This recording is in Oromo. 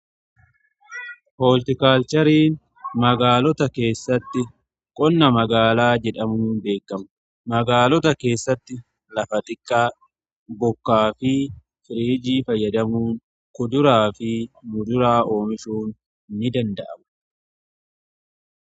hooltikaalchariin magaalota keessatti qonna magaalaa jedhamuun beekamu. magaalota keessatti lafa xiqqaa bokkaa fi firiijii fayyadamuun kuduraa fi muduraa oomishuun ni danda'aama.